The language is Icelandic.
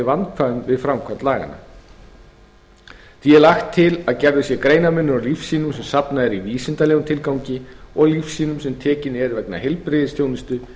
vandkvæðum við framkvæmd laganna því er lagt til að gerður sé greinarmunur á lífsýnum sem safnað er í vísindalegum tilgangi og lífsýnum sem tekin eru vegna heilbrigðisþjónustu